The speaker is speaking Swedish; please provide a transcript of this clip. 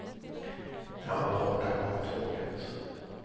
När han var borta kom tåget.